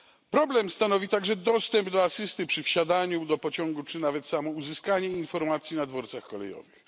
Problem stanowi także dostęp do asysty przy wsiadaniu do pociągu czy nawet samo uzyskanie informacji na dworcach kolejowych.